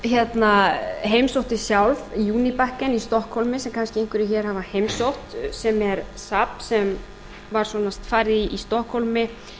og ég heimsótti sjálf junibacken í stokkhólmi sem kannski einhverjir hér hafa heimsótt sem er safn sem var svona þar í stokkhólmi